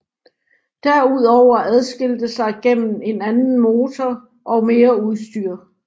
Derudover adskilte sig gennem en anden motor og mere udstyr